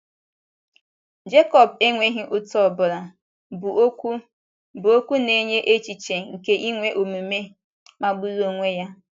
Jekọb enweghị ụta ọbụla, bụ́ okwu bụ́ okwu na - enye echiche nke inwe omume magburu onwe ya.